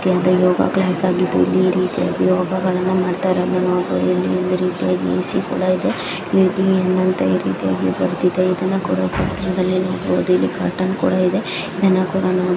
ಇದು ಒಂದು yoga class ಆಗಿದ್ತು ಇಲ್ಲಿ ಈ ರೀತ್ಯಾಗಿ ಯೋಗ ಮಾಡ್ತಇರೋದನ್ನ ನಾವು ನೋಡಬಹುದು ಇಲ್ಲಿ ಒಂದು ರೀತ್ಯಾಗಿ ಎ ಸಿ ಕೂಡ ಇದೆ ಇಲ್ಲಿ ಡಿ ಏನ್ ಅಂತ ಕೂಡ ಬರ್ದಿದೆ ಇದನ್ನ ಕೂಡ ನೋಡಬಹುದು ಇದು ಕೂಡ ಚಿತ್ರದಲ್ಲಿ ಇದೆ ಇಲ್ಲಿ ಕ್ಯೂರೇಟಿನ್ ಕೂಡ ಇದೆ .